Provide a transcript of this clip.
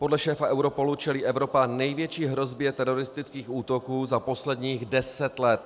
Podle šéfa Europolu čelí Evropa největší hrozbě teroristických útoků za posledních deset let.